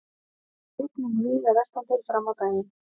Rigning víða vestantil fram á daginn